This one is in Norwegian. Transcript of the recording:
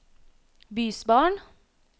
bysbarn